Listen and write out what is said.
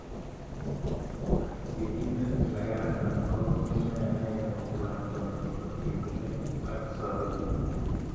Sigindet ne keraran ko neineti lakwenyi kotinykei ak sopet